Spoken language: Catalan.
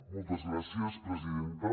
moltes gràcies presidenta